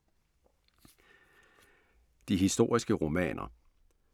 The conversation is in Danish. De historiske romaner